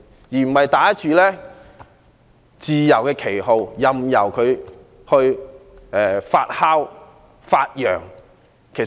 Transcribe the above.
我們不應打着自由的旗號，任由其發揚壯大。